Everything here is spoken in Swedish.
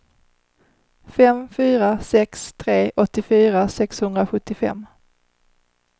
fem fyra sex tre åttiofyra sexhundrasjuttiofem